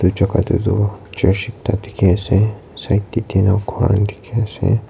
jaka te toh church ekta dikhi ase side te tine ghor khan dikhi ase.